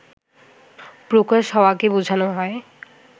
প্রকাশ হওয়াকে বোঝানো হয়